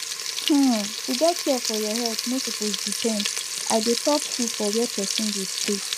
hmm to get care for your health no suppose depend i dey talk true for where person dey stay